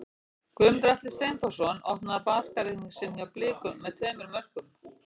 Guðmundur Atli Steinþórsson opnaði markareikning sinn hjá Blikum með tveimur mörkum.